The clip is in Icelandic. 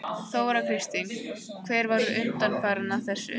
Þóra Kristín: Hver var undanfarinn að þessu?